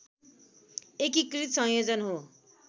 एकीकृत संयोजन हो